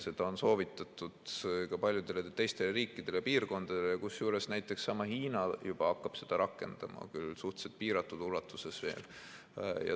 Seda on soovitatud ka paljudele teistele riikidele ja piirkondadele, kusjuures näiteks seesama Hiina juba hakkab seda rakendama – küll suhteliselt piiratud ulatuses veel.